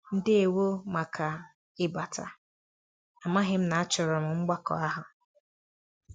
Ndewo màkà ịbata, amaghị m na-achọro m mbakọ àhụ́.